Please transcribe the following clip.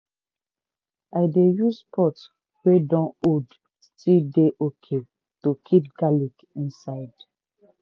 i dey use pot wey dun old still dey okay to keep garlic inside.